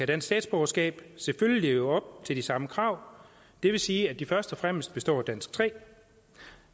dansk statsborgerskab selvfølgelig lever til de samme krav det vil sige at de først og fremmest består dansk tredje